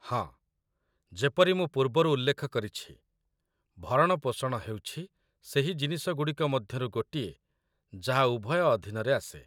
ହଁ, ଯେପରି ମୁଁ ପୂର୍ବରୁ ଉଲ୍ଲେଖ କରିଛି, ଭରଣପୋଷଣ ହେଉଛି ସେହି ଜିନିଷଗୁଡ଼ିକ ମଧ୍ୟରୁ ଗୋଟିଏ ଯାହା ଉଭୟ ଅଧୀନରେ ଆସେ।